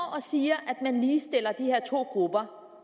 og siger at man ligestiller de her to grupper